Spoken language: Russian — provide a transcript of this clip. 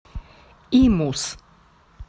имус